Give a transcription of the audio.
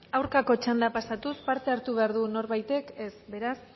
aurkako txanda pasatua parte hartu behar du norbaitek ez beraz